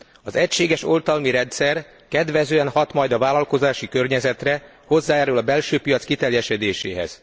Az egységes oltalmi rendszer kedvezően hat majd a vállalkozási környezetre, hozzájárul a belső piac kiteljesedéséhez.